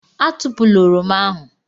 Atụpụla Oroma ahụ.